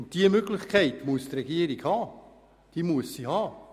Über diese Möglichkeit muss die Regierung verfügen können.